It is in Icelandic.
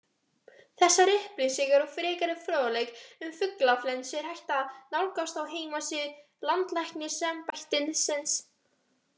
Þessar upplýsingar og frekari fróðleik um fuglaflensu er hægt að nálgast á heimasíðu Landlæknisembættisins.